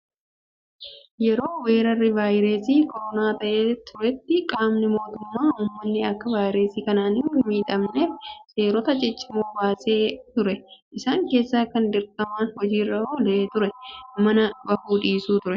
Yeroo weerarri vaayirasii koronaa ka'ee turetti qaamni mootummaa uummanni akka vaayirasii kanaan hin miidhamneef seerota ciccimoo baasee ture. Isaan keessaa kan dirqamaan hojiirra oolaa turan manaa bahuu dhiisuu fa'aa turan.